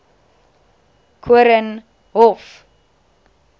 koornhof